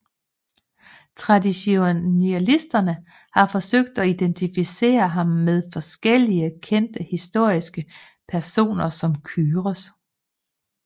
Traditionalister har forsøgt at identificere ham med forskellige kendte historiske personer som Kyros